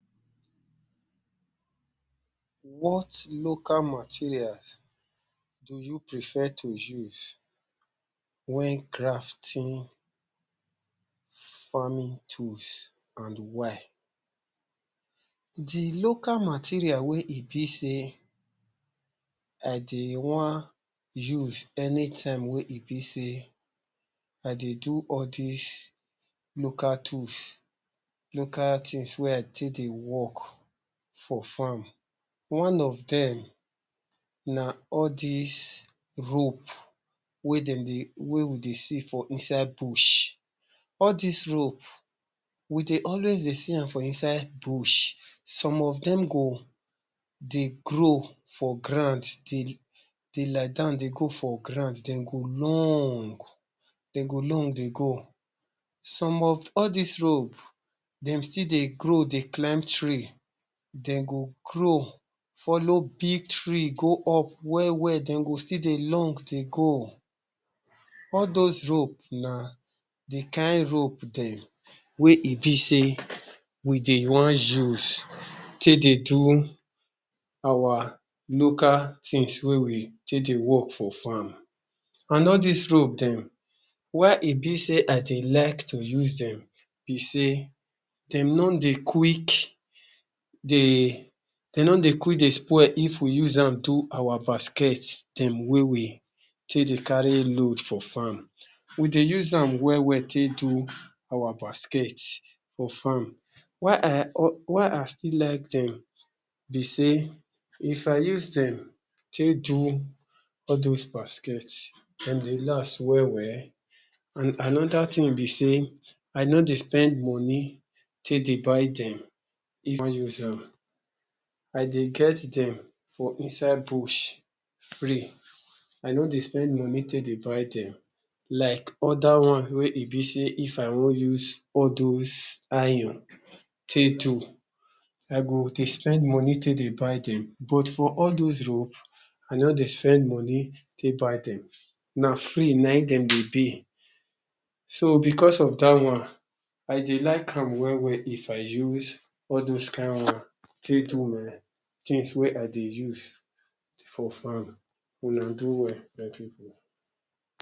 what local materials do you prefer to use when crafting farming tools and why? the local materials wey e be sey i dey wan use anytime wey e be sey i dey do all dis local tools local things wey i take dey work for farm one of dem na all dis rope wey we dey see for inside bush all dis rope we dey always dey seeyam for inside bush some of dem go dey grow for grand dey. dey liedan dey go for grand dem go long den go long dey go some of all dis rope dem still dey grow dey climb tree den go grow folow big tree go up we-we de go still dey long dey go all those rope na the kind rope dem wey e be sey we dey wan use take dey do our local things wey we take dey work for farm and all dis rope dem why e be sey i dey like to use dem be sey dem no dey quick dey de no dey quick dey spoil if we uzam do our basket dem wey we take dey carry load for farm we dey uzam we-we take do our basket for farm, why i still like dem be sey if i use dem take do all those basket dem dey las we-we and another thing be sey, i no dey spend money take dey buy dem if i wan uzam i dey get dem for inside bush free i no dey spend money take dey buy dem like other one wey e be sey if i wan useall those iron take do i go dey spend money take dey buy dem but for all those rope a no dey spend money take buy dem na free nayin dem de dey so because of da one i dey likam we-we if i use all those kind one things ee, things wey i dey use for farm una do well my people